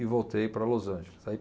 E voltei para Los Angeles. Aí